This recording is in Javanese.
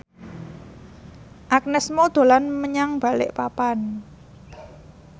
Agnes Mo dolan menyang Balikpapan